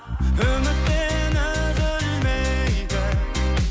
үмітпен үзілмейтін